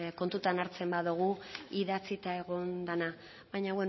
kontutan hartzen badugu idatzita egon dena baina